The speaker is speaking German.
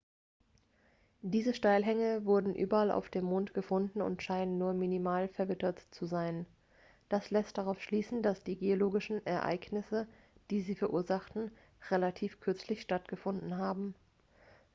diese steilhänge wurden überall auf dem mond gefunden und scheinen nur minimal verwittert zu sein das lässt darauf schließen dass die geologischen ereignisse die sie verursachten relativ kürzlich stattgefunden haben